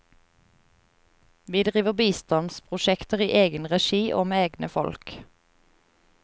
Vi driver bistandsprosjekter i egen regi og med egne folk.